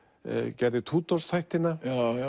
gerði þættina